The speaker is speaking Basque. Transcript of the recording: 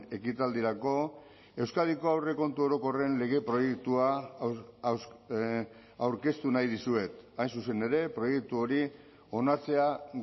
ekitaldirako euskadiko aurrekontu orokorren lege proiektua aurkeztu nahi dizuet hain zuzen ere proiektu hori onartzea